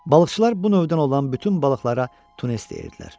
Balıqçılar bu növdən olan bütün balıqlara tunnes deyirdilər.